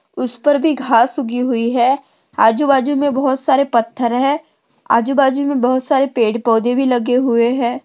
उसपर भी घास उगी हुई है आजूबाजुमे बहूत सारे पथर है। आजूबाजुमे बहुत सारे पेड़ पौधे भी लगे हुए है।